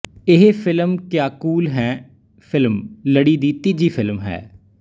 ਇਹ film Kya Kool Hain film ਲੜੀ ਦੀ ਤੀਜੀ ਫਿਲਮ ਹੈ